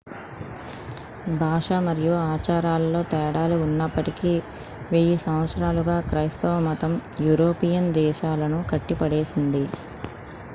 భాష మరియు ఆచారాలలో తేడాలు ఉన్నప్పటికీ వెయ్యి సంవత్సరాలుగా క్రైస్తవ మతం యూరోపియన్ దేశాలను కట్టిపడేసింది l